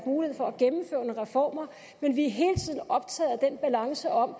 mulighed for at reformer men vi er hele tiden optaget af den balance om at